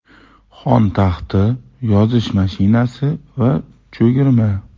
Xon taxti, yozish mashinasi va cho‘girma.